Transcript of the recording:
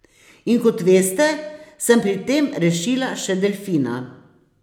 In kot veste, sem pri tem rešila še delfina.